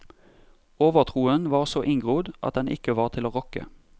Overtroen var så inngrodd at den ikke var til å rokke.